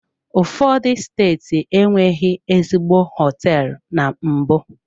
Ụfọdụ steeti enweghị ezigbo hoteelu na mbụ?